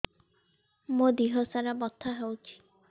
ମୋ ଦିହସାରା ବଥା ହଉଚି